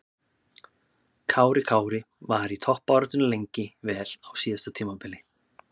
Kári Kári var í toppbaráttunni lengi vel á síðasta tímabili.